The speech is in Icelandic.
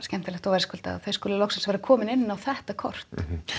verðskuldað og gott þau skuli loksins vera komin inn á þetta kort